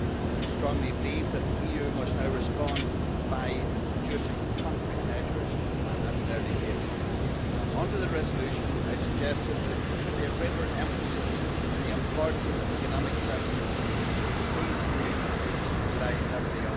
I strongly believe that the EU must now respond by introducing concrete measures at an early date. Under the resolution, I suggested that there should be a greater emphasis on the important economic sectors on which these communities rely heavily.